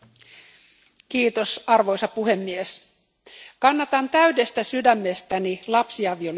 Arvoisa puhemies, kannatan täydestä sydämestäni lapsiavioliittojen lopettamista.